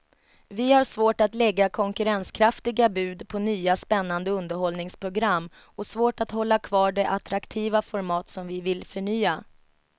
Vi har svårt att lägga konkurrenskraftiga bud på nya spännande underhållningsprogram och svårt att hålla kvar de attraktiva format som vi vill förnya.